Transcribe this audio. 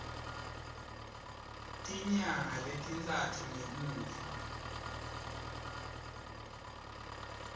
tinyanga letintsatfu ngemuva